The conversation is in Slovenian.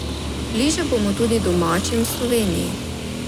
Bliže bomo tudi domačim v Sloveniji.